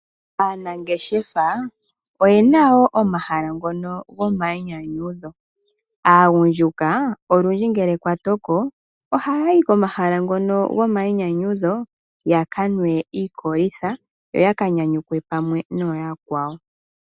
Aanangeshefa oyena woo omahala ngono gomayinyanyudho. Aagundjuka olundji ngele kwatoko oha yayi komahala ngono gomayinyanyudho yakanwe iikolitha yo yaka nyanyukwe pamwe nooyakwawo.